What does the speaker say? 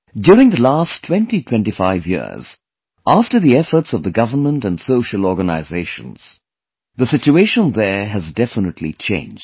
During the last 2025 years, after the efforts of the government and social organizations, the situation there has definitely changed